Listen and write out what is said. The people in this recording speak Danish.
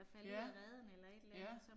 Ja, ja